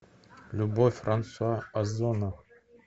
любовь франсуа озона